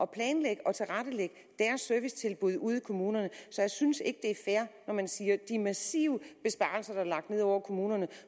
planlægge og tilrettelægge servicetilbuddene ude i kommunerne så jeg synes ikke det er fair når man siger de massive besparelser der er lagt ned over kommunerne